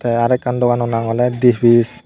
te are ekkan dogano nag oley dipis.